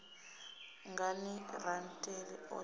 ngani rantete o litsha u